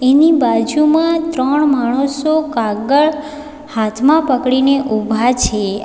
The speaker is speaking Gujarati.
એની બાજુમાં ત્રણ માણસો કાગળ હાથમાં પકડીને ઊભા છે.